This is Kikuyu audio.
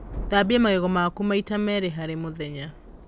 Thambia magego maku maĩ ta meri harĩ mũthenya